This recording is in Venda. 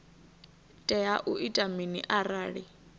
tea u ita mini arali